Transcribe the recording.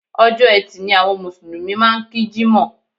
Ọjọ́ Ẹtì ni àwọn Mùsùlùmí máà ń kí Jímọ̀.